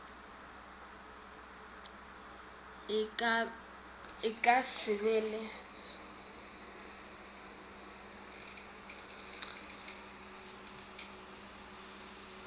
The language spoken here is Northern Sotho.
e ka se be le